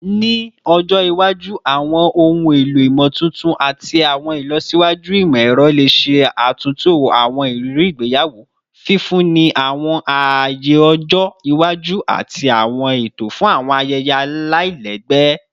Ni ọjọ iwaju, awọn ohun elo imotuntun ati awọn ilọsiwaju imọ-ẹrọ le ṣe atunto awọn iriri igbeyawo, fifunni awọn aaye ọjọ iwaju ati awọn eto fun awọn ayẹyẹ alailẹgbẹ